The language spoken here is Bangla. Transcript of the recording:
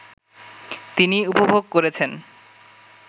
তিনি উপভোগ করেছেন